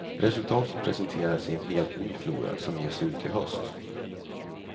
Resultatet presenteras i en helt ny flora som ges ut i höst.